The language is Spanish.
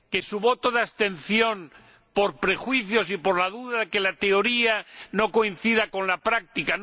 su voto de abstención, decidido por prejuicios y por la duda de que la teoría no coincida con la práctica.